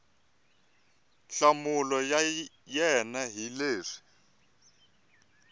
nhlamulo ya wena hi leswi